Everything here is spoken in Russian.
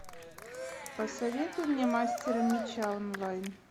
посоветуй мне мастера меча онлайн